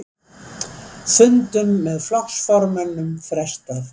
Fundum með flokksformönnum frestað